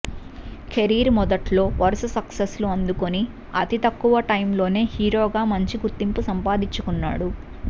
career మొదట్లో వరుస success లు అందుకొని అతి తక్కువ టైం లోనే హీరోగా మంచి గుర్తింపు సంపాదించుకున్నాడు